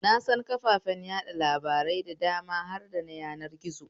Na san kafafen watsa labarai da dama har da na yanar gizo